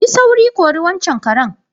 Yi sauri, kori waccan karen.